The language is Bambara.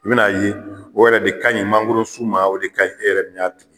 I bi na n'a ye o yɛrɛ de ka ɲi mankoro sun ma , o de ka ɲi e yɛrɛ min ya